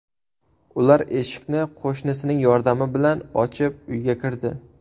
Ular eshikni qo‘shnisining yordami bilan ochib, uyga kirdi.